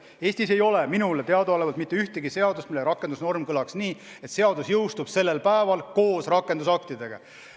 Eestis ei ole minule teadaolevalt mitte ühtegi seadust, mille rakendusnorm kõlaks nii, et seadus jõustub sellel päeval koos rakendusaktidega.